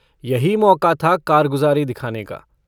यही मौका था कारगुजारी दिखाने का।